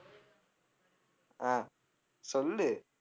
அஹ் சொல்லு.